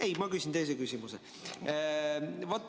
Ei, ma küsin teise küsimuse.